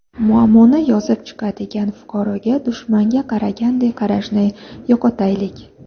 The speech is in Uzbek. Muammoni yozib chiqadigan fuqaroga dushmanga qaragandek qarashni yo‘qotaylik”.